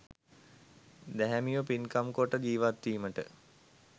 දැහැමිව පින්කම් කොට ජීවත්වීමට